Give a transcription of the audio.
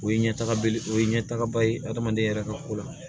O ye ɲɛtaga belebe o ye ɲɛtagaba ye hadamaden yɛrɛ ka ko la